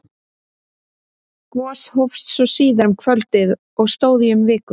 Gos hófst svo síðar um kvöldið og stóð í um viku.